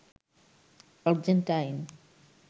Argentine